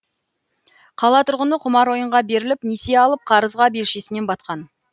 қала тұрғыны құмар ойынға беріліп несие алып қарызға белшесінен батқан